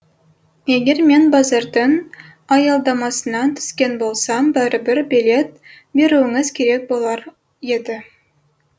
егер мен базардың аялдамасынан түскен болсам бәрібір билет беруіңіз керек болар еді